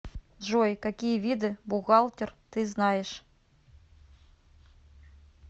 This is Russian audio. джой какие виды бухгалтер ты знаешь